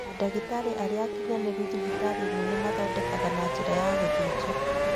Mandagĩtarĩ arĩa akinyanĩru thibitarĩ nene mathondekanaga na njĩra ya gũthĩnja.